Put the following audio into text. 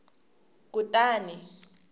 kutani